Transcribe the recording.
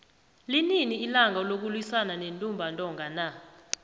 lini ilanga lokuwisana nentumba ntonga na